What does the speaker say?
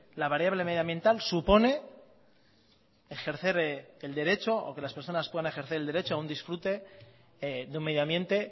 la variable medioambiental supone ejercer el derecho o que las personas puedan ejercer el derecho a un disfrute de un medioambiente